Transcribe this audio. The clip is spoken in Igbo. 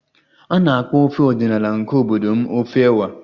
A na-akpọ ofe ọdịnala nke obodo m ofe ewa